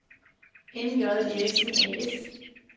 M.J. Eriksson A/S